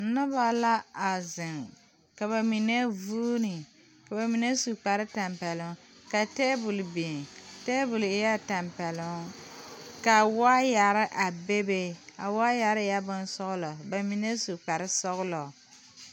Nobɔ la a zeŋ ka ba mine vuune ka ba mine su kpare tampɛloŋ ka tabole biŋ tabole eɛɛ tampɛloŋ ka waayɛre a bebe a waayɛre eɛɛ bonsɔglɔ ba mine su kparesɔglɔ.